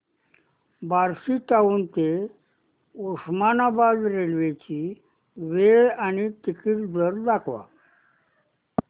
Barshi town ते Osmanabad railway ची वेळ आणि तिकीट दर दाखव